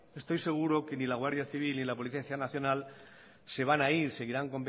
estoy seguro que ni la guardia civil ni la policía nacional se van a ir